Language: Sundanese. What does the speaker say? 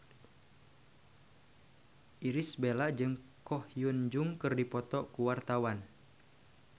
Irish Bella jeung Ko Hyun Jung keur dipoto ku wartawan